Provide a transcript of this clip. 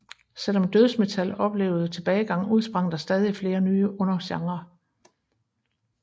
Selvom dødsmetal oplevede tilbagegang udsprang der stadig flere nye undergenrer